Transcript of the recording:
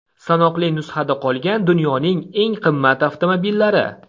Sanoqli nusxada qolgan dunyoning eng qimmat avtomobillari .